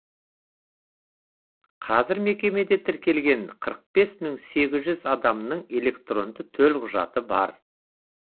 қазір мекемеде тіркелген қырық бес мың сегіз жүз адамның электронды төлқұжаты бар